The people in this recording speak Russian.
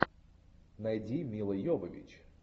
найди милла йовович